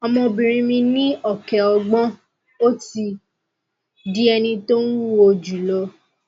ọmọbìnrin mi ní ọkẹ ogbon ó ti di ẹni tó ń wúwo jù lọ